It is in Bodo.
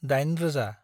दाइन रोजा